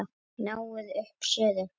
Náið upp suðu.